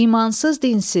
İmansız, dinsiz.